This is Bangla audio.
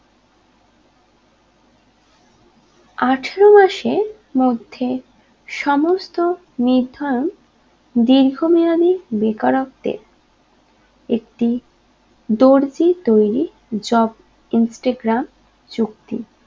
আঠেরো মাসের মধ্যে সমস্ত নির্ধারণ দীর্ঘমেয়াদি বেকারত্বের একটি দর্জি তৈরি job instagram চুক্তি